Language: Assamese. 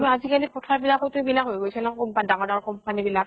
ন্তু আজিকালি পথাৰ বিলাক তো এইবিলাক হৈ গৈছে ন কোনবা ডাঙৰ ডাঙৰ company বিলাক